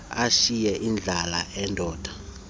ashiye indlalifa eyindoda